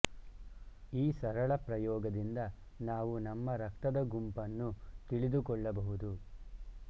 ಈ ಸರಳ ಪ್ರಯೋಗದಿಂದ ನಾವು ನಮ್ಮ ರಕ್ತದ ಗುಂಪನ್ಶು ತಿಳಿದುಕೊಳ್ಳಬಹುದು